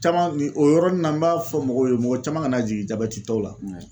Camanw ni o yɔrɔnin na n b'a fɔ mɔgɔw ye mɔgɔ caman kana jigin jabɛti tɔw la